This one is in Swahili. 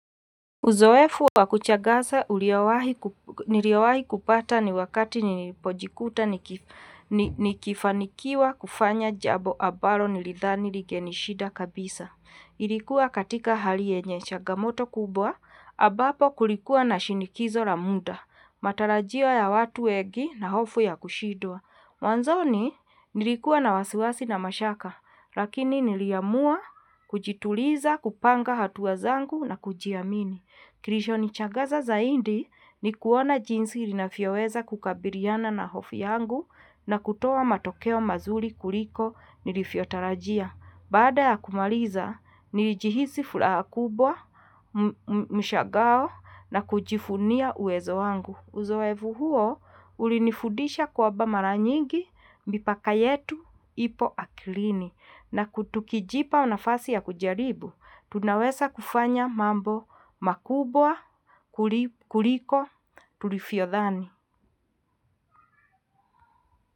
Uzoefu wa kushangaza nilioawahi kupata ni wakati nipojikuta nikifanikiwa kufanya jambo ambalo nilidhani lingenishida kabisa. Ilikua katika hali yenyechangamoto kubwa, ambapo kulikuwa na shinikizo la mda, matarajio ya watu wengi na hofu ya kushidwa mwanzoni nilikua na wasiwasi na mashaka, lakini nili amua kujituliza kupanga hatua zangu na kujiamini. Kilicho ni shangaza zaindi ni kuona jinsi rinavyoweza kukabiliana na hofu yangu na kutoa matokeo mazuri kuliko nilivyotarajia. Baada ya kumaliza, nilihisi furaha kubwa, mshangao na kujivunia uwezo wangu. Uzoefu huo, ulinifudisha kwamba mara nyingi mipaka yetu ipo akilini na tukijipa nafasi ya kujaribu. Tunaweza kufanya mambo makubwa, kuliko, tulivyo dhani.